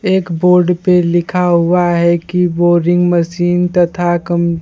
एक बोर्ड पे लिखा हुआ है कि बोरिंग मशीन तथा कम--